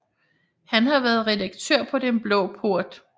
Han har været redaktør på Den Blå Port